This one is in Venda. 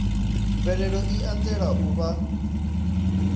mvelelo i anzela u vha